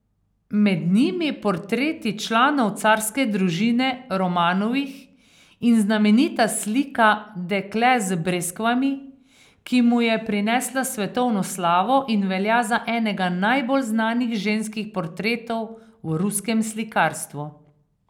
Med njimi portreti članov carske družine Romanovih in znamenita slika Dekle z breskvami, ki mu je prinesla svetovno slavo in velja za enega najbolj znanih ženskih portretov v ruskem slikarstvu.